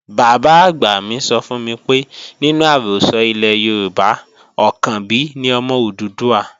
Bàbá-àgbà mi sọ fún mi pé nínú àrọ́sọ ilẹ̀ Yorùbá, Ọ̀kànbí ni ọmọ Odùduwà